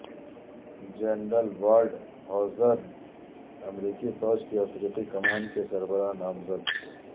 general Waldhauser امریکی فوج کی افریقی کمان کے سربراہ نامزد